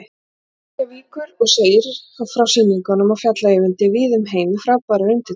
Reykjavíkur og segir frá sýningum á Fjalla-Eyvindi víða um heim við frábærar undirtektir.